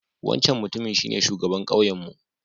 Wancan Mutumin shine shugaban kauyenmu